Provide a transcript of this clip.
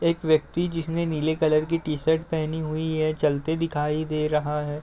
एक व्यक्ति जिसने नीले कलर की टी-शर्ट पहनी हुई है। चलते दिखाई दे रहा है।